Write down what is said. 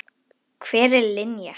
Hver er Linja?